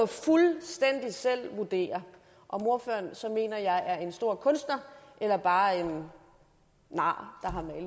fuldstændig selv vurdere om ordføreren så mener at jeg er en stor kunster eller bare en nar